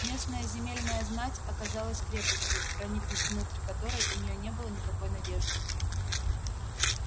местная земельная знать оказалась крепостью проникнуть внутрь которой у неё не было никакой надежды